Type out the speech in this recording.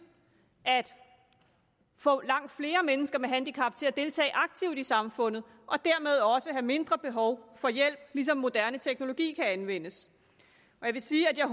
at få langt flere mennesker med handicap til at deltage aktivt i samfundet og dermed også have mindre behov for hjælp ligesom moderne teknologi kan anvendes jeg vil sige at jeg